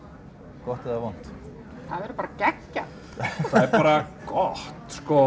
gott eða vont það verður bara geggjað það er bara gott sko